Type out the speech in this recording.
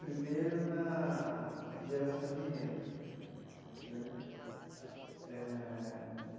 Primeiro, na geração de renda né eh.